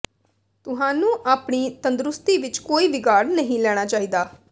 ਤੁਹਾਨੂੰ ਆਪਣੀ ਤੰਦਰੁਸਤੀ ਵਿਚ ਕੋਈ ਵਿਗਾੜ ਨਹੀਂ ਲੈਣਾ ਚਾਹੀਦਾ